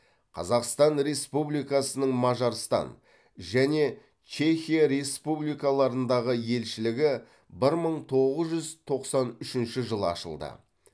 қазақстан республикасының мажарстан және чехия республикаларындағы елшілігі бір мың тоғыз жүз тоқсан үшінші жылы ашылды